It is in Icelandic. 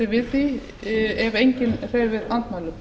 við því ef enginn hreyfir andmælum